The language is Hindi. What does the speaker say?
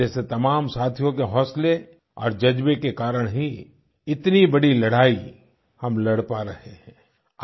आप जैसे तमाम साथियों के हौसले और जज़्बे के कारण ही इतनी बड़ी लड़ाई हम लड़ पा रहे हैं